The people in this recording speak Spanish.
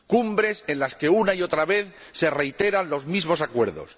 Cumbres en las que, una y otra vez, se reiteran los mismos acuerdos.